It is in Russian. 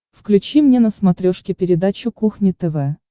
включи мне на смотрешке передачу кухня тв